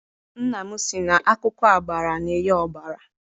Nna m sị na akwụkwọ agbara na-enye ọbara.